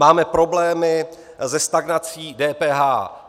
Máme problémy se stagnací DPH.